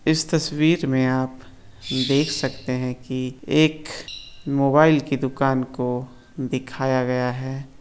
इस तस्वीर मे आप देख सकते है की एक मोबाईल की दुकान को दिखाया गया है।